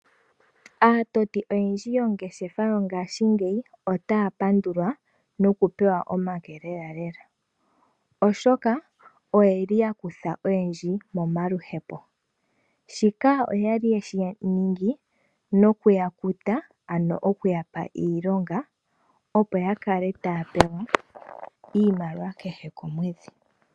Aatoti oyendji yoongeshefa yongashingeyi otaya pandulwa noku pewa omake lela lela, oshoka oyeli yakutha oyendji momaluhepo. Shika oyali yeshi ningi noku yakuta ano okuyapa iilonga opo yakale taya pewa iimaliwa kehe komwedhi.